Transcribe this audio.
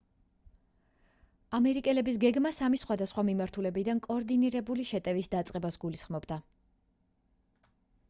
ამერიკელების გეგმა სამი სხვადასხვა მიმართულებიდან კოორდინირებული შეტევის დაწყებას გულისხმობდა